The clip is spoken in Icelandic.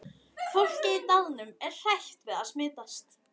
Fólkið í dalnum er hrætt við að smitast.